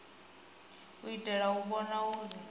u itela u vhona uri